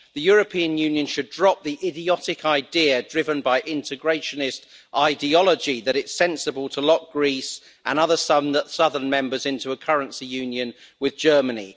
The European Union should drop the idiotic idea driven by integrationist ideology that it is sensible to lock Greece and other southern members into a currency union with Germany.